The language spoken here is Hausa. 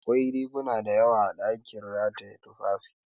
Akwai riguna dayawa a ɗakin rataye tufafi